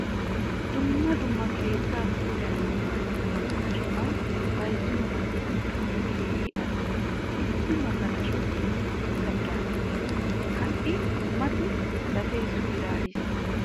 Dumma dumma keettaa puulayanawu maadiyaa magalashuwaa bayzziyo man'iyan gatee keehin al'o. Issi magalashoy beni guuta bira ekkes. Hai mati gatee suyrariis.